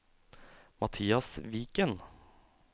Mathias Viken